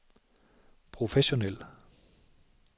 professionel